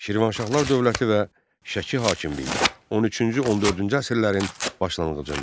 Şirvanşahlar dövləti və Şəki hakimliyi 13-14-cü əsrlərin başlanğıcında.